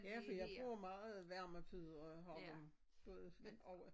Ja fordi jeg bruger meget varmepude og har har dem du ved over